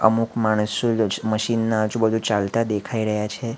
અમુક માણસો મશીન ના આજુ-બાજુ ચાલતા દેખાઈ રહ્યા છે.